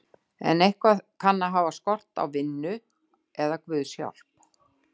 En eitthvað kann að hafa skort á vinnu eða guðs hjálp.